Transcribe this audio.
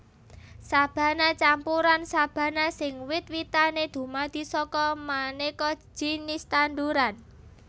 Sabana campuran sabana sing wit witané dumadi saka manéka jinis tanduran